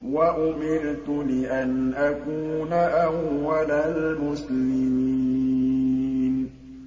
وَأُمِرْتُ لِأَنْ أَكُونَ أَوَّلَ الْمُسْلِمِينَ